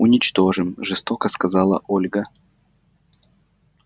уничтожим жёстко сказала ольга